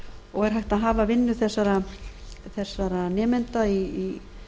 og er hægt að hafa vinnu þessara nemenda í